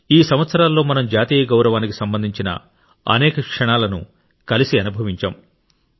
ఈ సంవత్సరాల్లో మనం జాతీయ గౌరవానికి సంబంధించిన అనేక క్షణాలను కలిసి అనుభవించాం